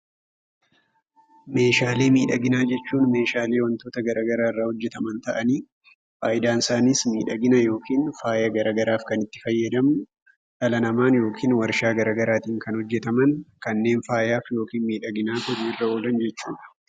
Meeshaalee miidhaginaa jechuun meeshaalee wantoota garaa garaa irraa hojjetaman ta'anii, faayidaan isaaniis miidhagina yookiin faaya gara garaaf kan itti fayyadamnu, dhala namaan yookiin waarshaa garaa garaatiin kan hojjetaman, kanneen faayaaf yookiin miidhaginaaf hojiirra oolan jechuudha.